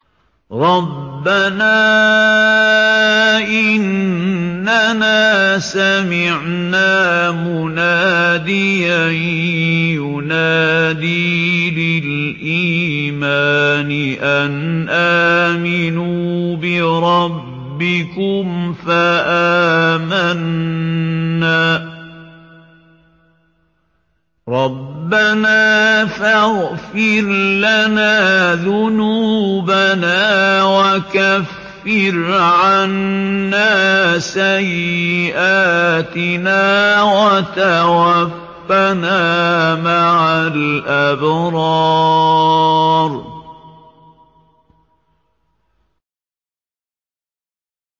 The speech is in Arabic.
رَّبَّنَا إِنَّنَا سَمِعْنَا مُنَادِيًا يُنَادِي لِلْإِيمَانِ أَنْ آمِنُوا بِرَبِّكُمْ فَآمَنَّا ۚ رَبَّنَا فَاغْفِرْ لَنَا ذُنُوبَنَا وَكَفِّرْ عَنَّا سَيِّئَاتِنَا وَتَوَفَّنَا مَعَ الْأَبْرَارِ